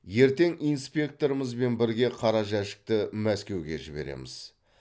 ертең инспекторымызбен бірге қара жәшікті мәскеуге жібереміз